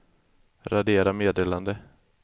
radera meddelande